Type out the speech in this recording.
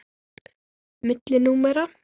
Milli númera.